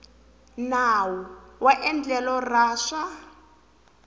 nawu wa endlelo ra swa